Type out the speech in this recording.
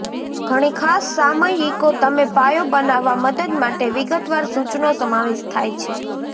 ઘણી ખાસ સામયિકો તમે પાયો બનાવવા મદદ માટે વિગતવાર સૂચનો સમાવેશ થાય છે